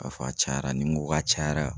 K'a fɔ a cayara ni n ko k'a cayara